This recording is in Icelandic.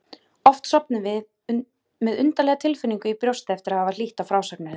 Oft sofnuðum við með undarlega tilfinningu í brjósti eftir að hafa hlýtt á frásagnir þess.